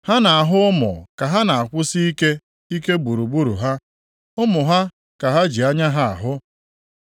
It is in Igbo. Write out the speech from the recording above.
Ha na-ahụ ụmụ ka ha na-akwụsike ike gburugburu ha, ụmụ ha ka ha ji anya ha ahụ.